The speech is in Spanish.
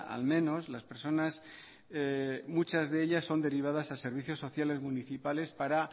al menos las personas muchas de ellas son derivadas a servicios sociales municipales para